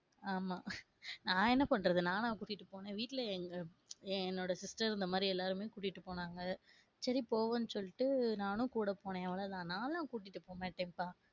ஆமா நான் என்ன பண்றது நானா கூட்டி போனேன் வீட்டுல எங்க என்னோட sister இந்தமாதிரி எல்லாருமே கூட்டி போன்னாங்க சரி போவோம்னு சொல்லிட்டு நானும் கூட போனேன், அவளோ தான் நான்லாம் கூட்டிட்டு போகமாட்டேன்பா.